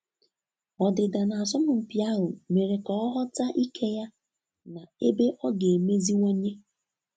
Ọdịda na asọmpi ahụ mere ka ọ ghọta ike ya na ebe ọ ga emeziwanye